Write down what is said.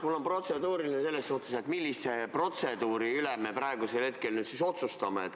Mul on protseduuriline küsimus selle kohta, et millise protseduuri üle me hetkel otsustame.